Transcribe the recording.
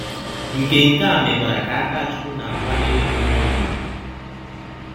Nke Nke a mekwara ka Akachụkwụ na - akwanyere Ọnyema ụgwụ.